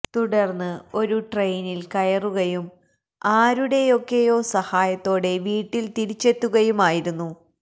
തുടർന്ന് ഒരു ട്രെയിനിൽ കയറുകയും ആരുടെയൊക്കെയോ സഹായത്തോടെ വീട്ടിൽ തിരിച്ചെത്തുകയുമായിരുന്നു